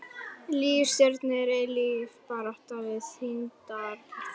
Líf stjörnu er eilíf barátta við þyngdaraflið.